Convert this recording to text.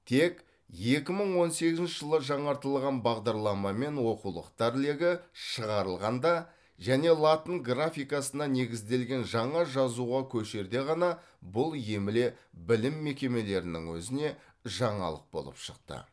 тек екі мың он сегізінші жылы жаңартылған бағдарламамен оқулықтар легі шығарылғанда және латын графикасына негізделген жаңа жазуға көшерде ғана бұл емле білім мекемелерінің өзіне жаңалық болып шықты